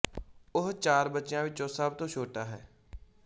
ਉਹ ਚਾਰ ਬੱਚਿਆਂ ਵਿੱਚੋਂ ਸਭ ਤੋਂ ਛੋਟਾ ਹੈ